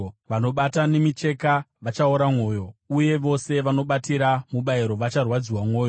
Vanobata nemicheka vachaora mwoyo, uye vose vanobatira mubayiro vacharwadziwa mwoyo.